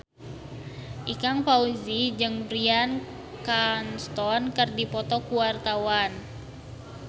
Ikang Fawzi jeung Bryan Cranston keur dipoto ku wartawan